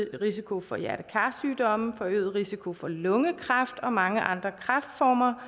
risiko for hjerte kar sygdomme forøget risiko for lungekræft og mange andre kræftformer